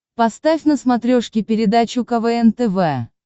поставь на смотрешке передачу квн тв